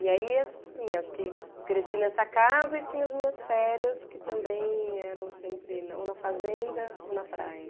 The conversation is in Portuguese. E aí, assim, acho que cresci nessa casa e tinha as minhas férias, que também eram sempre ou na fazenda ou na praia.